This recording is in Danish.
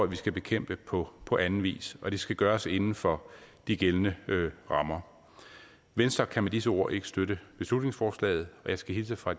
vi skal bekæmpe på på anden vis og det skal gøres inden for de gældende rammer venstre kan med disse ord ikke støtte beslutningsforslaget og jeg skal hilse fra